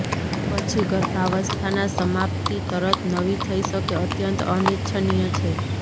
પછી ગર્ભાવસ્થાના સમાપ્તિ તરત નવી થઇ શકે અત્યંત અનિચ્છનીય છે